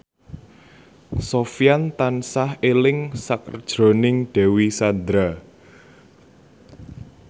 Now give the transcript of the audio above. Sofyan tansah eling sakjroning Dewi Sandra